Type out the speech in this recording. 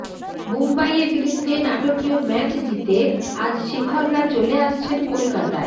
মুম্বইয়ের বিরুদ্ধে নাটকীয় ম্যাচ জিতে আজ শিখররা চলে আসছেন কলকাতায়